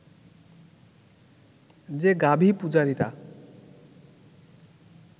যে ‘গাভি-পূজারি’রা